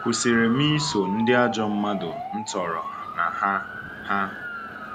Kwụsịrị m iso ndị ajọ mmadụ m toro na ha. ha.